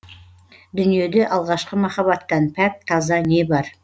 дүниеде алғашқы махабаттан пәк таза не бар